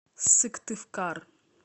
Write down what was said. сыктывкар